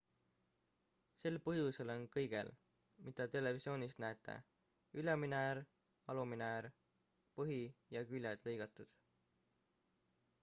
sel põhjusel on kõigel mida televisioonist näete ülemine äär alumine äär põhi ja küljed lõigatud